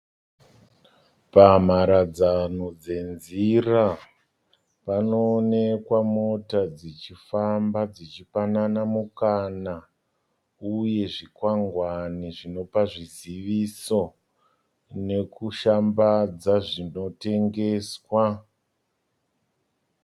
Pamharadzano dzenzira, panoonekwa mota dzichifamba dzichipanana mukana uye zvikwangwani zvinopa zviziviso nokushambadza zvinotengeswa.